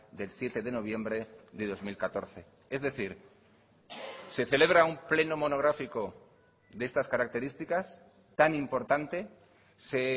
del siete de noviembre de dos mil catorce es decir se celebra un pleno monográfico de estas características tan importante se